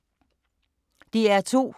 DR2